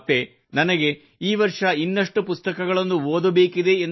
ಮತ್ತು ನನಗೆ ಈ ವರ್ಷ ಮತ್ತಷ್ಟು ಪುಸ್ತಕಗಳನ್ನು ಓದಬೇಕಿದೆ